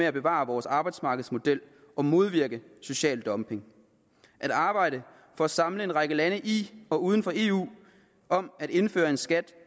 at bevare vores arbejdsmarkedsmodel og modvirke social dumping at arbejde for at samle en række lande i og uden for eu om at indføre en skat